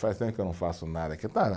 Faz tempo que eu não faço nada.